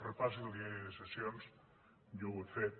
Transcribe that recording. repassi el diari de sessions jo ho he fet